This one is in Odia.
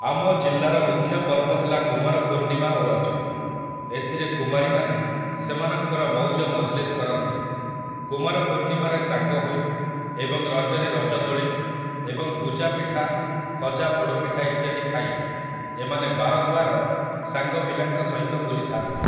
ଆମ ଜିଲ୍ଲାର ମୁଖ୍ୟ ପର୍ବ ହେଲା କୁମାର ପୂର୍ଣ୍ଣିମା ଓ ରଜ । ଏଥିରେ କୁମାରୀମାନେ ସେମାନଙ୍କର ମଉଜ ମଜଲିସ କରନ୍ତି । କୁମାରପୂର୍ଣ୍ଣିମାରେ ସାଙ୍ଗ ହୋଇ ଏବଂ ରଜରେ ରଜ ଦୋଳି ଏବଂ ଗୁଜାପିଠା ଖଜା ପୋଡ଼ପିଠା ଇତ୍ୟାଦି ଖାଇ ଏମାନେ ବାରଦୁଆର ସାଙ୍ଗ ପିଲାଙ୍କ ସହିତ ବୁଲିଥାନ୍ତି